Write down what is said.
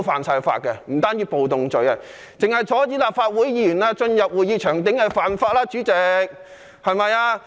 主席，單是阻止立法會議員進入會議場地已屬犯法。